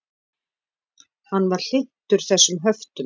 Hann var hlynntur þessum höftum.